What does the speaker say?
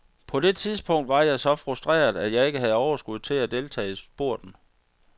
På det tidspunkt var jeg så frustreret, at jeg ikke havde overskud til at deltage i spurten.